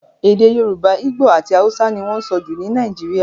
Èdè Yorùbá, Igbo àti Hausa ni wọ́n sọ jù ní Nàìjíríà.